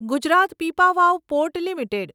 Gujarat Pipavav port limited